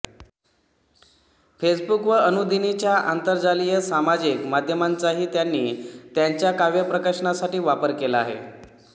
Facebook व अनुदिनीच्या आंतरजालीय सामाजिक माध्यमांचाही त्यांनी त्यांच्या काव्य प्रकाशनासाठी वापर केला आहे